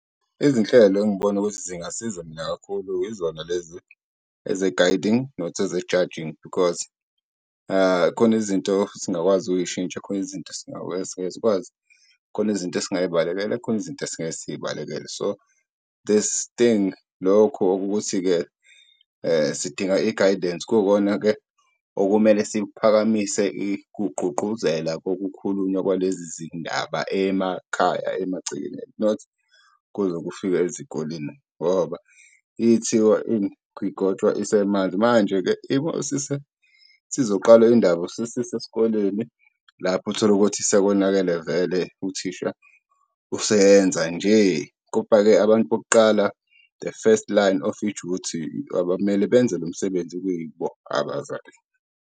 Izinhlelo engibona ukuthi zingasiza mina kakhulu yizona lezi eze-guiding, not eze-judging because khona izinto esingakwazi ukuyishintsha, khona izinto esingesikwazi, khona izinto esingayibalekela, khona izinto esingeke siyibalekele. So, this thing lokhu okukuthi-ke sidinga i-guidance, kuwukona-ke okumele siphakamise kuqguqguzela kokukhulunywa kwalezi zindaba emakhaya, emagcekeni not kuze kufike ezikoleni. Ngoba igotshwa isemanzi. Manje-ke isizoqalwa indaba sesisesikoleni, lapho utholukuthi sekonakele vele, uthisha useyenza nje. abantu bokuqala, the first line of i-duty abamele benze lo msebenzi kuyibo abazali.